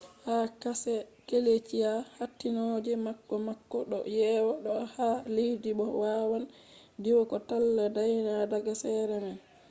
ha karshe gleeshia hattinooje makko makko do yewa do’a ha leddi bo waawan diwa ko talla dayna daga sera man